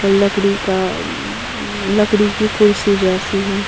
और लकड़ी का लकड़ी की कुर्सी जैसी है।